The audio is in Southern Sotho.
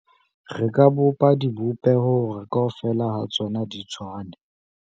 re ka bopa dibopeho hore kaofela ha tsona di tshwane